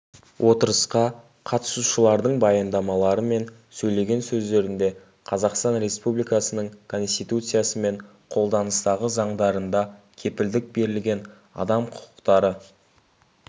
отырысқа қатысушылардың баяндамалары мен сөйлеген сөздерінде қазақстан республикасының конституциясы мен қолданыстағы заңдарында кепілдік берілген адам құқықтары